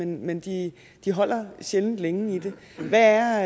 men de de holder sjældent længe i det hvad er